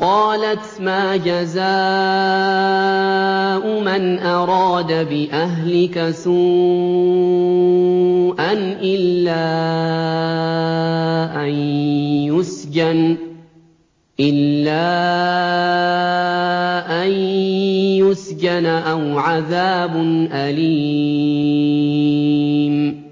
قَالَتْ مَا جَزَاءُ مَنْ أَرَادَ بِأَهْلِكَ سُوءًا إِلَّا أَن يُسْجَنَ أَوْ عَذَابٌ أَلِيمٌ